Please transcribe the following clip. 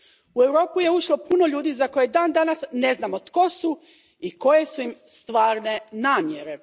U Europu je ušlo puno ljudi za koje dan danas ne znamo tko su i koje su im stvarne namjere.